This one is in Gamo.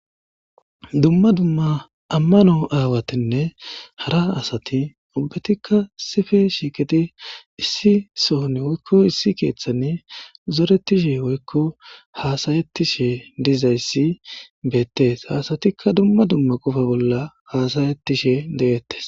Duma duma amano aawatinne ha asati ubbatika issi bolla shiqidi issi Soho issi kethan eqi zoretishe woykon hasayetishe de'etes. Ha asati duma duma qopa bolla hasayetishe de'etes.